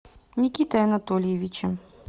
никитой анатольевичем